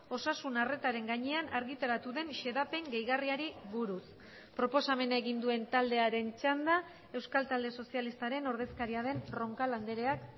osasun arretaren gainean argitaratu den xedapen gehigarriari buruz proposamena egin duen taldearen txanda euskal talde sozialistaren ordezkaria den roncal andreak